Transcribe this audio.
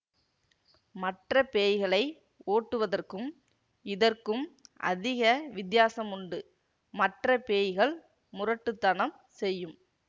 மற்ற பேய்களை ஓட்டுவதற்கும் இதற்கும் அதிக வித்தியாசமுண்டு மற்ற பேய்கள் முரட்டு தனம் செய்யும்